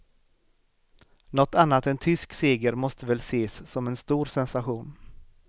Nåt annat än tysk seger måste väl ses som en stor sensation.